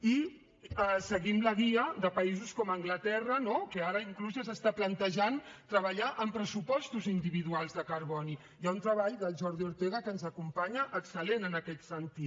i seguim la guia de països com anglaterra no que ara inclús ja es planteja treballar amb pressupostos individuals de carboni hi ha un treball del jordi ortega que ens acompanya excel·lent en aquest sentit